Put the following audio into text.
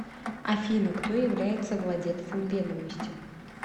афина кто является владельцем ведомости